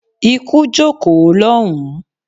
Ikú jókòó lọ́hùn-ún!